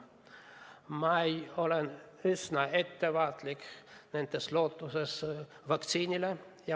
Ma olen üsna ettevaatlik lootuses saada vaktsiini.